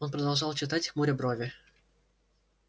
он продолжал читать хмуря брови